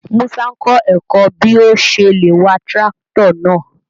Múṣà n kọ èkọ́ bí ọ̀ ṣè lé wà tirakítò náà.